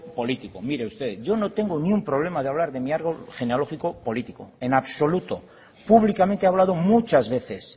político mire usted yo no tengo ni un problema de hablar de mi árbol genealógico político en absoluto públicamente he hablado muchas veces